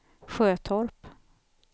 Sjötorp